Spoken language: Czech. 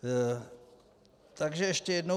Takže ještě jednou.